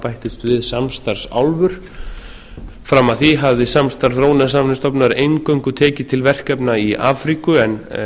að þá bættust við samstarfsálfur fram að því hafði samstarf þróunarsamvinnustofnunar eingöngu tekið til verkefna í afríku en